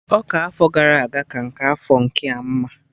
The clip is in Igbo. Ọka afọ gara aga ka nke afọ nkea mma